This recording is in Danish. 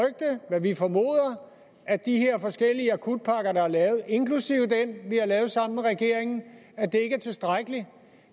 hvad vi formoder at de her forskellige akutpakker der er lavet inklusive den vi har lavet sammen med regeringen ikke er tilstrækkelige